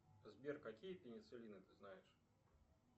сбер какие пенициллины ты знаешь